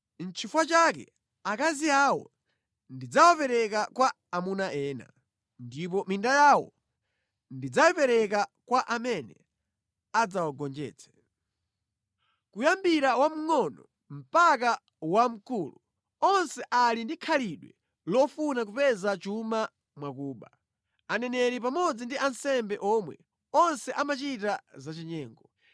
Nʼchifukwa chake akazi awo ndidzawapereka kwa amuna ena ndipo minda yawo ndidzayipereka kwa amene adzawagonjetse. Kuyambira wamngʼono mpaka wamkulu, onse ali ndi khalidwe lofuna kupeza chuma mwakuba. Aneneri pamodzi ndi ansembe omwe, onse amachita zachinyengo.